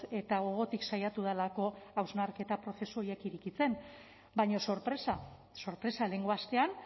eta gogotik saiatu delako hausnarketa prozesu horiek irekitzen baina sorpresa sorpresa lehengo astean